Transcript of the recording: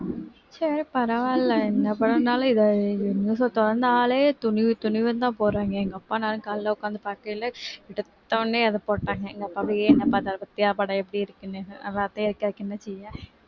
சரி பரவாயில்லை என்ன படம் வந்தாலும் இத news அ தொறந்தாலே துணிவு துணிவுன்னுதான் போடுறாங்க எங்க அப்பா நானும் காலையிலே உட்கார்ந்து பார்க்கையிலே எடுத்த உடனே அதை போட்டாங்க எங்க அப்பாவே என்னை பார்த்தாங்க பாத்தியா படம் எப்படி இருக்குன்னு நல்லாத்தான் இருக்கு அதுக்கு என்ன செய்ய